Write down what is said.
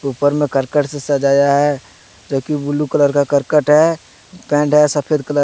ऊपर में करकट से सजाया है जो कि ब्ल्यू कलर का करकट है। पेंट है सफेद कलर का।